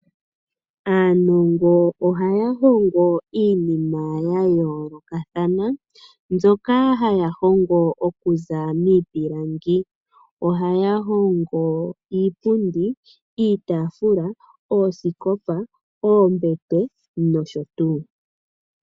Aanongo ohaya hongo iinima ya yoolokathana, mbyoka haya hongo okuza miipilangi. Ohaya hongo iipundi, iitaafula, oosikopa, oombete nosho tuu.